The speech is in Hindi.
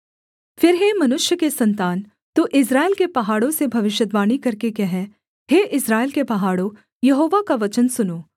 फिर हे मनुष्य के सन्तान तू इस्राएल के पहाड़ों से भविष्यद्वाणी करके कह हे इस्राएल के पहाड़ों यहोवा का वचन सुनो